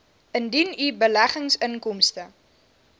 indien u beleggingsinkomste